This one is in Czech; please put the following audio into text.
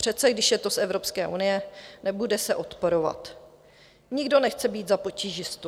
Přece když je to z Evropské unie, nebude se odporovat, nikdo nechce být za potížistu.